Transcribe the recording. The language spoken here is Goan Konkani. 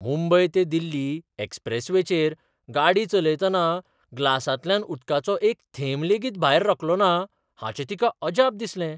मुंबय ते दिल्ली एक्सप्रेसवेचेर गाडी चलयतना ग्लासांतल्यान उदकाचो एक थेंब लेगीत भायर रकलोना हाचें तिका अजाप दिसलें.